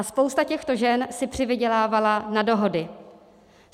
A spousta těchto žen si přivydělávala na dohody.